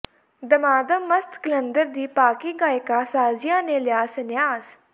ਦਮਾਦਮ ਮਸਤ ਕਲੰਦਰ ਦੀ ਪਾਕਿ ਗਾਇਕਾ ਸ਼ਾਜ਼ੀਆ ਨੇ ਲਿਆ ਸੰਨਿਆਸ